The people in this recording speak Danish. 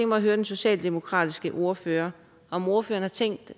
mig at høre den socialdemokratiske ordfører om ordføreren har tænkt